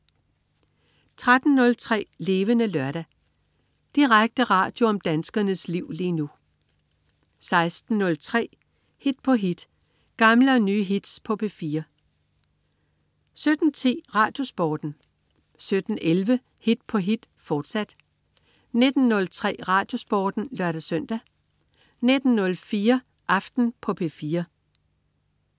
13.03 Levende Lørdag. Direkte radio om danskernes liv lige nu 16.03 Hit på hit. Gamle og nye hits på P4 17.10 RadioSporten 17.11 Hit på hit, fortsat 19.03 RadioSporten (lør-søn) 19.04 Aften på P4